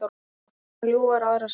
Sumar ljúfar aðrar sárar.